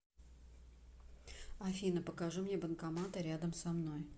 афина покажи мне банкоматы рядом со мной